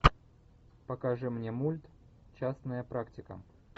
покажи мне мульт частная практика